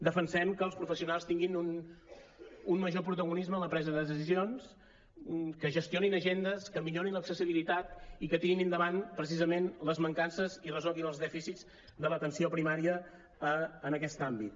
defensem que els professionals tinguin un major protagonisme en la presa de decisions que gestionin agendes que millorin l’accessibilitat i que tirin endavant precisament les mancances i resolguin els dèficits de l’atenció primària en aquest àmbit